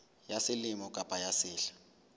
ya selemo kapa ya sehla